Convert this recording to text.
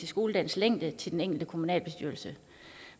skoledagens længde til den enkelte kommunalbestyrelse